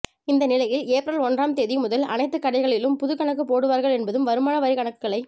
இந்த நிலையில் ஏப்ரல் ஒன்றாம் தேதி முதல் அனைத்து கடைகளிலும் புது கணக்கு போடுவார்கள் என்பதும் வருமானவரி கணக்குகளை